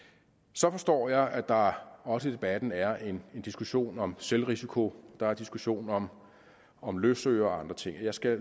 så forstår jeg at der også i debatten er en diskussion om selvrisiko der er diskussion om om løsøre og andre ting og jeg skal